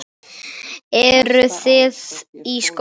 Eru þið í skóla?